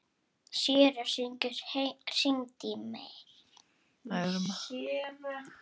Séra Haukur hringdi í mig.